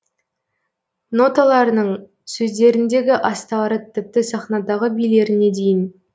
ноталарының сөздерінегі астары тіпті сахнадағы билеріне дейін